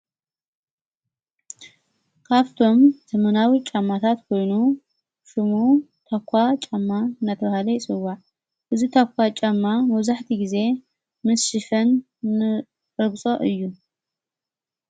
ካፍቶም ዘመናዊ ጫማታት ውኑ ሽሙ ተኳ ጫማ ነትርሃለይጽዋ እዝ ተኳ ጫማ መዙሕቲ ጊዜ ምስ ጭፍን ንርግጾ እዩ።